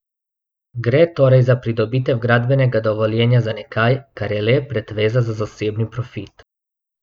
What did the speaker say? Gre torej za pridobitev gradbenega dovoljenja za nekaj, kar je le pretveza za zasebni profit.